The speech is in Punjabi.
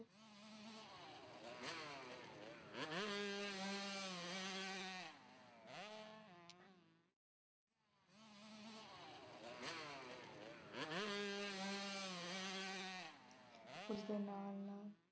ਉਸਦੇ ਨਾਲ ਨਾਲ